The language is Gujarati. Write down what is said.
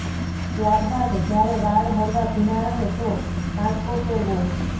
ત્યારબાદ જ્યારે વાળ હળવા ભીના રહે તો કાંસકો ફેરવો